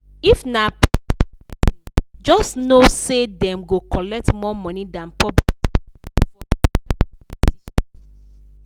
if na private lesson just know say dem go collect more money than public school for special kind teaching.